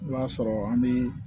I b'a sɔrɔ an bi